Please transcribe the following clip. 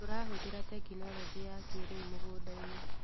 Tũrahũthĩra tekinologĩ ya kĩrĩu mũgũndainĩ.